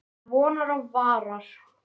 Til vonar og vara.